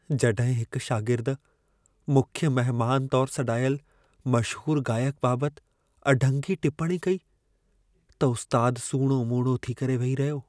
जॾहिं हिक शागिर्दु मुख्य महिमान तौरु सॾाइलु मशहूर गाइक बाबति अढंगी टिपणी कई, त उस्तादु सूणो मूणो थी करे वेही रहियो।